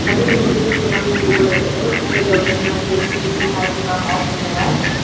ಮೊದ್ಲಿಗೆ ನಿಲ್ಸಿದ್ದು ಕಿರಾಣಿ ಅಂಗಡಿಗಳು ಇರ್ತಿದ್ವು ಈಗ ದೊಡ್ಡದ್ ಮಾಡಿ ಎ_ಸಿ ಗೀಸಿ ಹಾಕಿ ಬಹಳ ಪಾಶ್ ಮಾಡ್ಯಾರ.